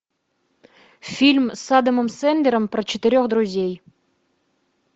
фильм с адамом сэндлером про четырех друзей